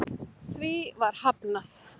Því var hafnað